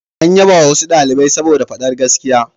An yabawa wasu ɗalibai saboda faɗar gaskiya.